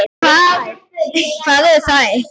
Hvar eru þær?